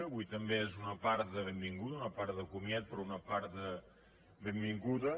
avui també és una part de benvinguda una part de comiat però una part de benvinguda